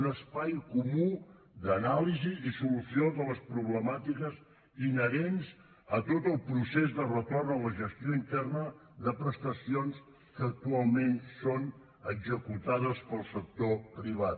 un espai comú d’anàlisi i solució de les problemàtiques inherents a tot el procés de retorn a la gestió interna de prestacions que actualment són executades pel sector privat